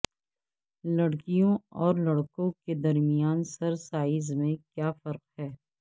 لڑکیوں اور لڑکوں کے درمیان سر سائز میں کیا فرق ہے